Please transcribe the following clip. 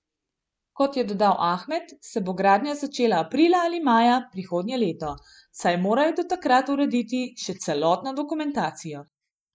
Kot je dodal Ahmed, se bo gradnja začela aprila ali maja prihodnje leto, saj morajo do takrat urediti še celotno dokumentacijo.